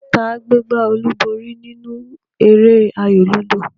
Ta gbé gbá olúborí nínú eré ayò lúdò?